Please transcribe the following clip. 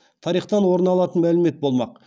тарихтан орын алатын мәлімет болмақ